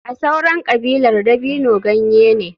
A sauran kabilar dabino ganye ne.